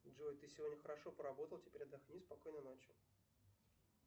джой ты сегодня хорошо поработал теперь отдохни спокойной ночи